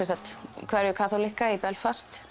hverfi kaþólikka í Belfast